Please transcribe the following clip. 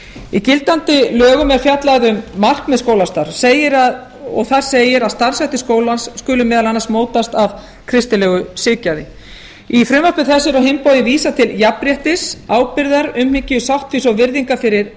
í gildandi lögum er fjallað um markmið skólastarfs og þar segir að starfshættir skólans skuli meðal annars mótast af kristilegu siðgæði í frumvarpi þessu er á hinn bóginn vísað til jafnréttis ábyrgðar umhyggju sáttfýsi og virðingar fyrir